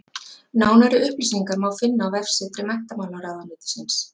Nánari upplýsingar má finna á vefsetri Menntamálaráðuneytisins.